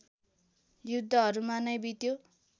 युद्धहरूमा नै बित्यो